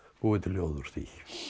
búið til ljóð úr því